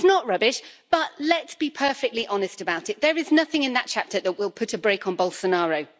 It's not rubbish, but let's be perfectly honest about it there is nothing in that chapter that will put a brake on Bolsonaro.